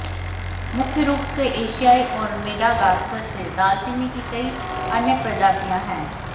मुख्य रूप से एशिया और मेडागास्कर से दालचीनी की कई अन्य प्रजातियां हैं